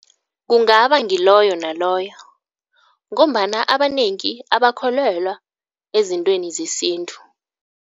Kungaba ngiloyo naloyo ngombana abanengi abakholelwa ezintweni zesintu.